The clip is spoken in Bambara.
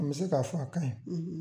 A be se ka fɔ a kaɲi